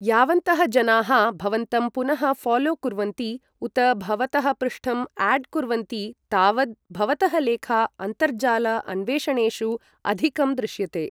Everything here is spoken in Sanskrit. यावन्तः जनाः भवन्तं पुनः 'ऴालो' कुर्वन्ति उत भवतः पृष्ठं 'आड्' कुर्वन्ति तावद् भवतः लेखा अन्तर्जाल अन्वेषणेषु अधिकं दृश्यते।